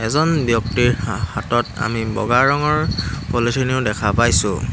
এজন ব্যক্তিৰ হা হাতত আমি বগা ৰঙৰ পলিথিনো দেখা পাইছোঁ।